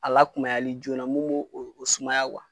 A la kumayali joona mun be o sumaya